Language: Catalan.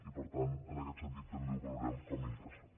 i per tant en aquest sentit també ho valorem com a interessant